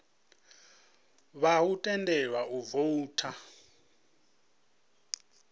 vha ḓo tendelwa u voutha